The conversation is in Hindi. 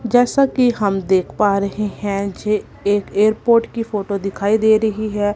जैसा कि हम देख पा रहे हैं मुझे एक एयरपोर्ट की फोटो दिखाई दे रही है।